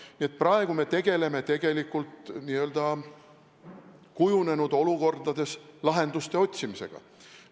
Nii et praegu me tegeleme n-ö kujunenud olukordades lahenduste otsimisega.